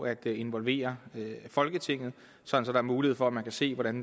at involvere folketinget så der er mulighed for at man kan se hvordan